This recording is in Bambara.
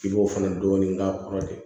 I b'o fana dɔɔnin k'a kɔrɔ de